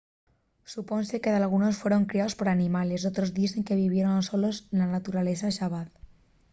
supónse que dalgunos fueron criaos por animales; d’otros dizse que vivieron solos na naturaleza xabaz